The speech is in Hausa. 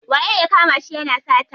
Waye ya kama shi yana sata?